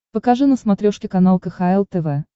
покажи на смотрешке канал кхл тв